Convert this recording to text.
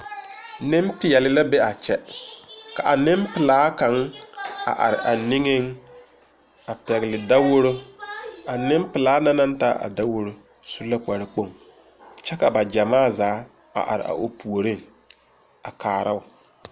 Nenpeɛle la be a kyɛ, ka Nenpelaa kaŋa a are a niŋe a pegle daworo ,a Nenpelaa na naŋ taa a daworo su la kpare kpoŋ ,kyɛ ka ba gyamaa zaa are o puori a kaaro .